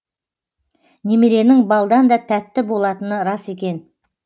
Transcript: немеренің балдан да тәтті болатыны рас екен